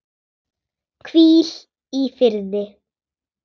Hvíl í firði.